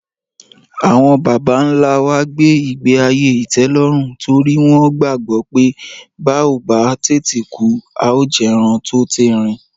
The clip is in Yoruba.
Àwọn bàbá-ńlá wa gbé ìgbé-ayé ìtẹ́lọ́rùn torí wọ́n gbàgbọ́ pé bá ò bá tètè kú, a óò jẹran tó térin